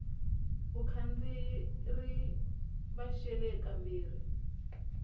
vakhandziyi ri va xele kambirhi